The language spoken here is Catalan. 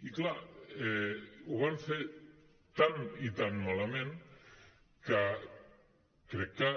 i clar ho van fer tan i tan malament que crec que